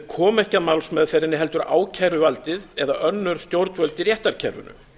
koma ekki að málsmeðferðinni heldur ákæruvaldið eða önnur stjórnvöld í réttarkerfinu